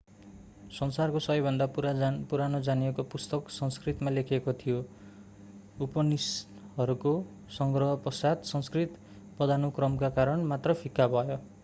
संसारको सबैभन्दा पुरानो जानिएको पुस्तक संस्कृतमा लेखिएको थियो उपनिषदहरूको संग्रह पश्चात संस्कृत पदानुक्रमका कारण मात्र फिक्का भयो